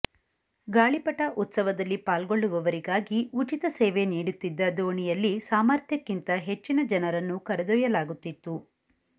ಗಾಳಿಪಟ ಉತ್ಸವದಲ್ಲಿ ಪಾಲ್ಗೊಳ್ಳುವವರಿಗಾಗಿ ಉಚಿತ ಸೇವೆ ನೀಡುತ್ತಿದ್ದ ದೋಣಿಯಲ್ಲಿ ಸಾಮರ್ಥ್ಯಕ್ಕಿಂತ ಹೆಚ್ಚಿನ ಜನರನ್ನು ಕರೆದೊಯ್ಯಲಾಗುತ್ತಿತ್ತು